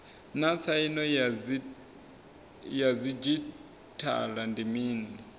naa tsaino ya didzhithala ndi mini